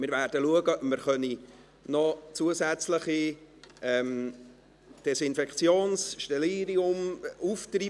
Wir schauen, ob wir noch zusätzliche Desinfektionsmittel, Sterilium, auftreiben können.